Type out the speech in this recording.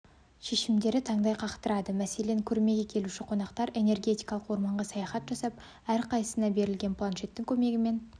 шешімдері таңдай қақтырады мәселен көрмеге келуші қонақтар энергетикалық орманға саяхат жасап әрқайсысына берілген планшеттің көмегімен